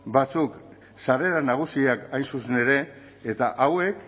batzuk sarrera nagusiak hain zuzen ere eta hauek